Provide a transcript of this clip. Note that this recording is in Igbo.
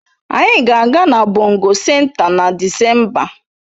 Anyị ga-aga na bongo senta na Disemba